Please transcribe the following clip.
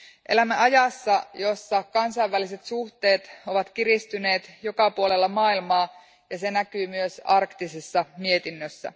Elämämme ajassa, jossa kansainväliset suhteet ovat kiristyneet joka puolella maailmaa, ja se näkyy myös arktisessa mietinnössä.